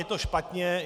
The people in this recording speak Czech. Je to špatně?